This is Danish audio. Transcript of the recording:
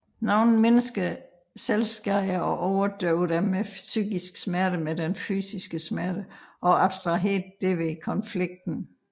Nogle mennesker selvskader og overdøver dermed den psykiske smerte med den fysiske smerte og abstraherer derved konflikten